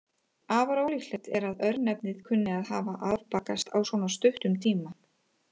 Afar ólíklegt er að örnefnið kunni að hafa afbakast á svo stuttum tíma.